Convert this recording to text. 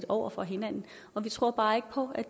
over for hinanden og vi tror bare ikke på